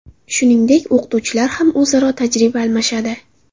Shuningdek, o‘qituvchilar ham o‘zaro tajriba almashadi.